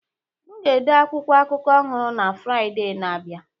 M ga-ede akwụkwọ akụkọ ọhụrụ na Fraịde na-abịa